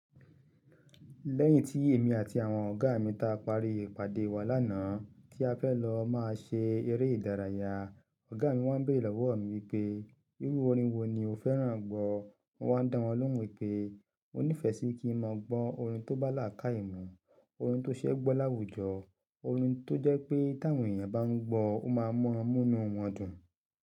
Lẹ́yìn tí èmi àti àwọn ọ̀gá mi ta parí ìpàdé wa lánàá tí a fẹ́ lọ máa ṣe eré ìdárayá, ọ̀gá mi wá ń béèrè lọ́wọ́ mi pé, irú orin wo ni o fẹ́ràn gbọ́? Mo wá ń dá wọn lóhùn wípé mo nífẹ̀ẹ́ sí kí n mọ gbọ́n orin tó bá là ká ìmọ̀, orin tó ṣe ẹ́ gbọ́ láwùjọ, orin tó jẹ́ pé bí àwọn èèyàn bá ń gbọ́, ó máa mọ́ múnú wọn dùn.